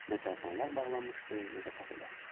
Nə çayxanalar bağlanmışdı, nə də kafelər.